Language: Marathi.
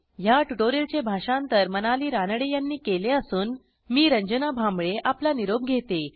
ह्या ट्युटोरियलचे भाषांतर मनाली रानडे यांनी केले असून मी रंजना भांबळे आपला निरोप घेते160